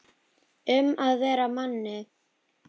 Um að vera Manni!